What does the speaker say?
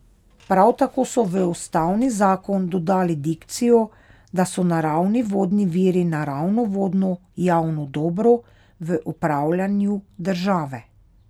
Prav tako so v ustavni zakon dodali dikcijo, da so naravni vodni viri naravno vodno javno dobro v upravljanju države.